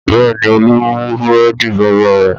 Bẹ́ẹ̀ ni, Olú mú búrẹ́dì bàbá rẹ̀.